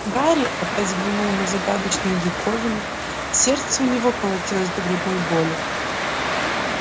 гарри опять взглянул на загадочную диковину сердце у него колотилось до грудной боли